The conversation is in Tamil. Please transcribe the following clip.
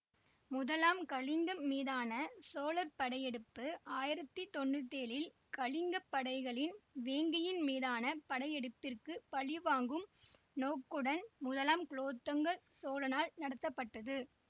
முதலாம் கலிங்கம் மீதான சோழர் படையெடுப்பு ஆயிரத்தி தொன்னூத்தி ஏழில் கலிங்கப் படைகளின் வேங்கியின் மீதான படையெடுப்பிற்குப் பழிவாங்கும் நோக்குடன் முதலாம் குலோத்துங்க சோழனால் நடத்தப்பட்டது